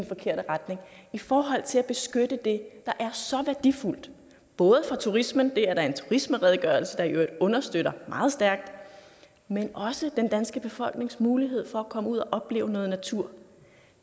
forkerte retning i forhold til at beskytte det der er så værdifuldt både for turismen det er der en turismeredegørelse der i øvrigt understøtter meget stærkt men også for den danske befolknings mulighed for at komme ud og opleve noget natur